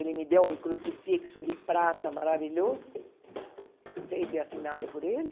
Ele me deu um crucifixo de prata maravilhoso, feito e assinado por ele.